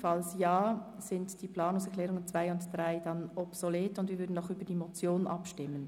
Falls diese angenommen wird, sind die Planungserklärungen 2 und 3 obsolet, und wir würden noch über die Motion abstimmen.